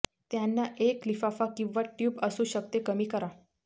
त्यांना एक लिफाफा किंवा ट्यूब असू शकते कमी करा